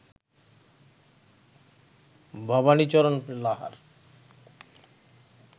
Bhabanicharan Lahar